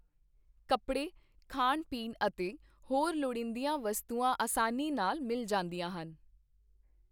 ਕੱਪੜੇ ਖਾਣ ਪੀਣ ਅਤੇ ਹੋਰ ਲਵੋਂੜੀਦੀਆਂ ਵਸਤੂਆ ਆਸਾਨੀ ਨਾਲ ਮਿਲ ਜਾਂਦੀਆਂ ਹਨ